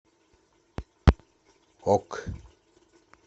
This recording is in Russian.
ок